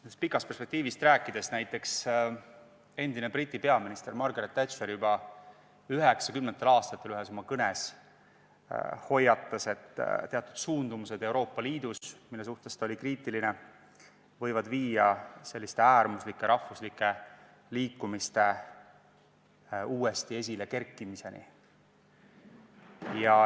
Kaugemast perspektiivist rääkides, näiteks endine Briti peaminister Margaret Thatcher juba 1990. aastatel ühes oma kõnes hoiatas, et teatud suundumused Euroopa Liidus, mille suhtes ta oli kriitiline, võivad viia selliste äärmuslike rahvuslike liikumiste uuesti esilekerkimiseni.